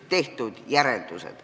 Aitäh!